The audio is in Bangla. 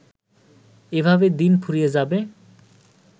এভাবে দিন ফুরিয়ে যাবে